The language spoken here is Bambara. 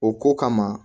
O ko kama